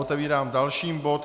Otevírám další bod